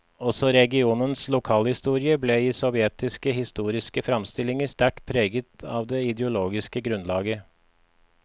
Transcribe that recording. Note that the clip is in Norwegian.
Også regionens lokalhistorie ble i sovjetiske historiske framstillinger sterkt preget av det ideologiske grunnlaget.